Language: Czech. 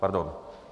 Pardon.